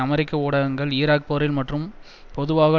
அமெரிக்க ஊடகங்கள் ஈராக் போரில் மற்றும் பொதுவாக